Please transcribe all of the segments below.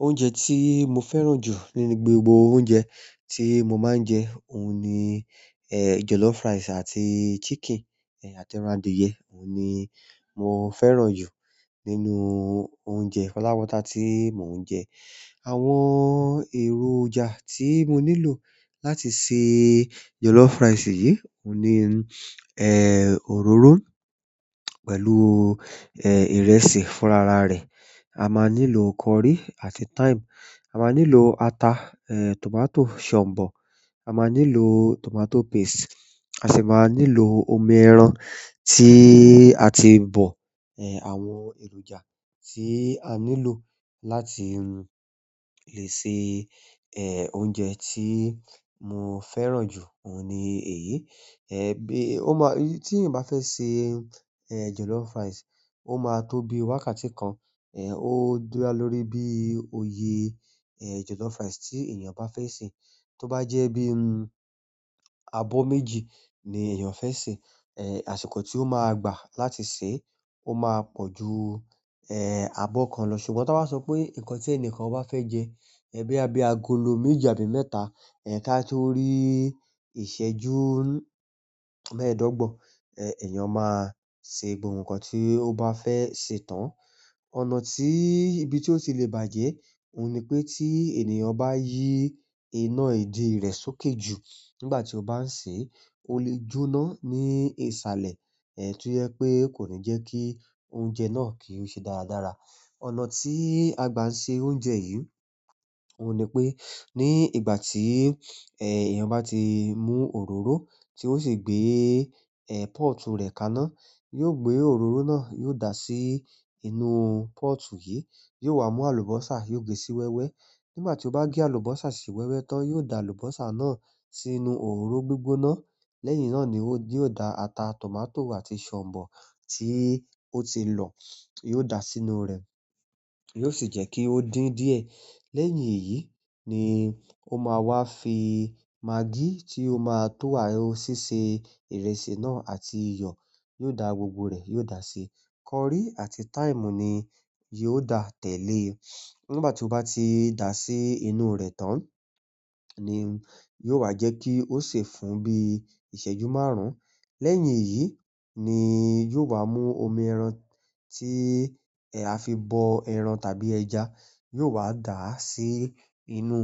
Oúnjẹ tí mo fẹ́ràn jù nínú gbogbo oúnjẹ tí mo máa ń jẹ, òun ni jollof rice àti chicken, àti ẹran adìyẹ. Òun ni mo fẹ́ràn jù nínú oúnjẹ pátápátá tí mò ń jẹ. Àwọn èròjà tí mo nílò láti se jollof rice yìí, òun ni òróró pẹ̀lú ìrẹsì fúnra ra rẹ̀. A máa nílò curry àti thyme. A máa nílò ata, tomato, ṣọ̀mbọ̀. A máa nílò tomato paste. A sì máa nílò omi ẹran tí a ti bọ̀. Àwọn èròjà tí a nílò láti lè se oúnjẹ tí mo fẹ́ràn jù, òun ni èyí. Bí, ó má, tí ènìyàn bá fẹ́ se jollof rice, ó máa tó bi wákàtí kan. Ó dá lórí bí oye jollof rice tí èèyàn bá fẹ́ sè. Tó bá jẹ́ bíi abọ́ méjì ni èèyàn fẹ́ sè, àsìkò tí ó máa gbà láti sèé, ó máa pọ̀ ju abọ́ kan lọ. Ṣùgbọ́n t'ọ́n bá sọ pé nǹkan tí ẹni kan bá fẹ́ jẹ, bóyá bí agolo méjì àbí mẹ́ta, ká tó rí ìṣẹ́jú mẹ́ẹ̀ẹ́dọ́gbọ̀n, èèyàn máa se gbogbo nǹkan tí ó bá fẹ́ sè tán. Ọ̀nà tí, ibi tí ó ti lè bàjẹ́, òun ni pé tí ènìyàn bá yí iná ìdí rẹ̀ sókè jù nígbà tí ó bá ń sèé, ó le jóná ní ìsàlẹ̀ tó jẹ́ pé kò ní jẹ́ kí oúnjẹ náà kí ó ṣe dáradára. Ọ̀nà tí a gbà ń se oúnjẹ yìí, òun ni pé ní ìgbà tí, eh, èèyàn bá ti mú òróró tí ó sì gbé, eh, pọ́ọ̀tù rẹ̀ kaná, yóò gbé òróró náà, yóò dà sí inú pọ́ọ̀tù yìí. Yóò wá mú àlùbọ́sà, yóò gé sí wẹ́wẹ́. Nígbà tí ó bá gé àlùbọ́sà sí wẹ́wẹ́ tán, yóò da àlùbọ́sà náà sínú òróró gbígbóná. Lẹ́yìn náà ni ó, yóò da ata, tomato àti ṣọ̀mbọ̀ tí ó ti lọ̀, yóò dàá sínú rẹ̀. Yóò sì jẹ́ kí ó dín díẹ̀. Lẹ́yìn èyí ni ó máa wá fi magí tí ó máa tó síse ìrẹsì náà àti iyọ̀. Yóò da gbogbo rẹ̀, yóò dàá síi, curry àti thyme ni yóò dà tẹ̀ lée. Nígbà tí ó bá ti dàá sí inú rẹ̀ tán ni yóò wá jẹ́ kí ó sè fún bíi ìṣẹ́jú márùn-ún. Lẹ́yìn èyí ni yóò wá mú omi ẹran tí a fi bọ ẹran tàbí ẹja. Yóò wá dà á sí inú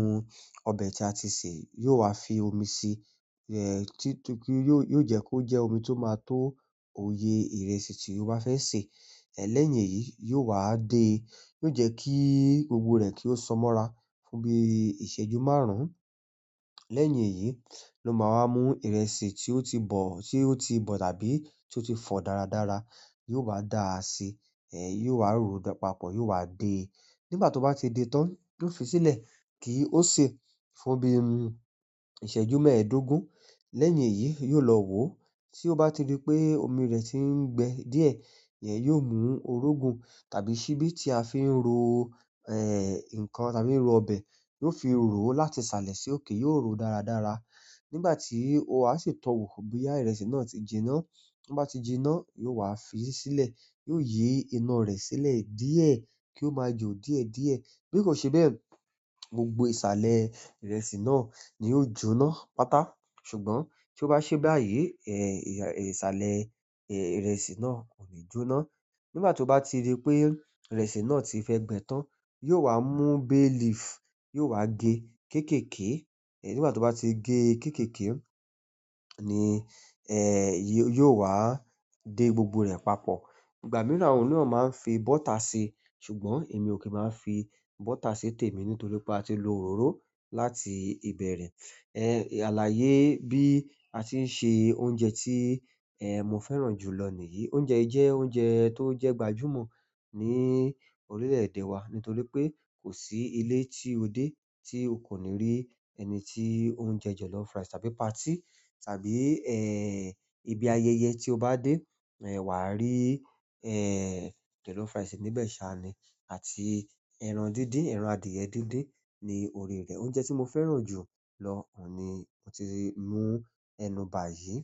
ọbẹ̀ tí a ti sè yìí. Yóò wá fi omi sí i, tí, torí yóò, yóò jẹ́ kó jẹ́ omi tó máa tó oye ìrẹsì tí ó bá fẹ́ sè. Lẹ́yìn èyí, yóò wá dée. Yóò jẹ́ kí gbogbo rẹ̀ kí ó sọmọ́ra fún bí ìṣẹ́jú márùn-ún. Lẹ́yìn èyí ló máa wá mú ìrẹsì tí ó ti bọ̀, tí ó ti bọ̀ tàbí tí ó ti fọ̀ dáradára. Yóò wá dà á sí, eh, yóò wá ròó papọ̀, yóò wá dée. Nígbà tó bá ti de tán, yóò fi sílẹ̀ kí ó sè fún bí ìṣẹ́jú mẹ́ẹ̀ẹ́dógún. Lẹ́yìn èyí, yóò lọ wòó. Tí ó bá ti rí pé omi rẹ̀ tí ń gbẹ díẹ̀, yẹn yóò mú orógun tàbí ṣíbí tí a fi ń ro nǹkan, táa fi ń ro ọbẹ̀. Yóò fi ròó láti sàlẹ̀ sí òkè, yóò ròó dáradára. Nígbà tí wàá sì tọ wò bóyá ìrẹsì náà ti jinná. Bí ó bá ti jinná, yóò wá fií sílẹ̀. Yóò yí iná rẹ̀ sílẹ̀ díẹ̀ kí ó máa jò díẹ̀díẹ̀. Bí kò ṣe bẹ́ẹ̀, gbogbo ìsàlẹ̀ ìrẹsì náà ni yóò jóná pátá. Ṣùgbọ́n tí ó bá ṣeé báyìí, ìsàlẹ̀ ìrẹsì náà kò ní jóná. Nígbà tí ó bá ti rí pé ìrẹsì náà ti fẹ́ gbẹ tán, yóò wá mú bay leaf, yóò wá gée kéékèèké. Eh, nígbà tí ó bá ti gée kéékèèké ni yóò wá dé gbogbo rẹ̀ papọ̀. Ìgbà mìíràn, àwọn mìíràn máa ń fi bọ́tà síi. Ṣùgbọ́n èmi ò kí máa ń fi bọ́tà sí tèmi nítorí pé a ti lo òróró láti ìbẹ̀rẹ̀. Àlàyé bí a ti ń ṣe oúnjẹ tí mo fẹ́ràn jùlọ nìyí. Oúnjẹ yìí jẹ́ oúnjẹ tó jẹ́ gbajúmọ̀ ní orílẹ̀-èdè wa nítorí pé kò sí ilé tí o dé tí o kò ní rí ẹni tí ó ń jẹ jollof rice tàbí party tàbí, eh, ibi ayẹyẹ tí o bá dé, eh, wà á rí, eh, jollof rice níbẹ̀ ṣáá ni àti ẹran díndín, ẹran adìyẹ díndín ní orí rẹ̀. Oúnjẹ tí mo fẹ́ràn jù lọ, òun ni mo ti mú ẹnu bà yìí.